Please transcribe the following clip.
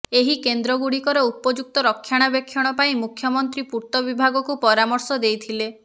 ଏହି କେନ୍ଦ୍ର ଗୁଡ଼ିକର ଉପଯୁକ୍ତ ରକ୍ଷଣାବେକ୍ଷଣ ପାଇଁ ମୁଖ୍ୟମନ୍ତ୍ରୀ ପୂର୍ତ୍ତ ବିଭାଗକୁ ପରାମର୍ଶ ଦେଇଥିଲେ